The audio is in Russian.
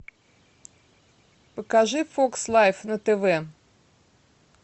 покажи фокс лайф на тв